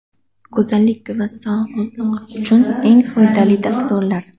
Go‘zallik va sog‘liq uchun eng foydali dasturlar.